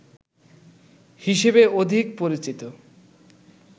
হিসেবে অধিক পরিচিত